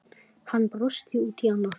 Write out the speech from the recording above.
Hann brosti út í annað.